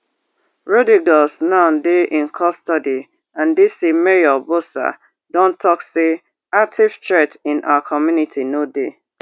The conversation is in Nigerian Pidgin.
rodriguez now dey in custody and dc mayor bowser don tok say active threat in our community no dey